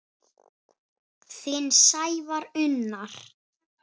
Þinn Sævar Unnar.